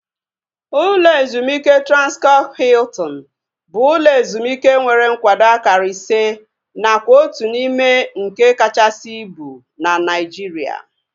Ụlọ ezumike Transkọp Hiltin bụ ụlọ ezumike nwere nkwado akara ise nakwa otu n'ime nke kachasị ibu na Naijiria